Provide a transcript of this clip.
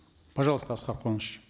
пожалуйста аскар куаныш